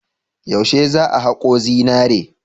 Yaushe za a hako zinari?